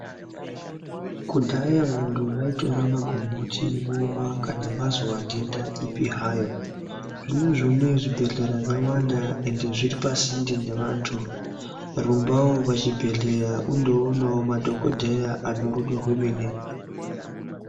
Kudhaya vantu vaitora magomboti vomwa kana vazwa ndenda ipi hayo. Zvinezvi unoyu zvibhedhlera zvawanda ende zviripasinde nevantu. Rumbawo pachibhedhleya undoonawo madhogodheya anerudo rwemene.